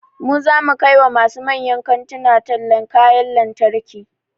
Mu zamu kai wa masu manyan kantuna tallan kayan lantarki